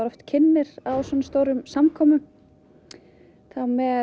kynnir á svona stórum samkomum þá með